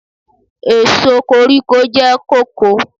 Èso koríko jẹ́ kóko.